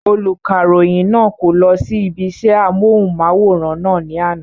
Olùkàròyìn náà kò lọ sí ibi isẹ́ amóhùnmáwòrán náà ní àná